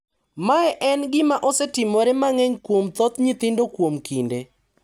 Mae en gima osetimore mang`eny kuom thoth nyithindo kuom kinde.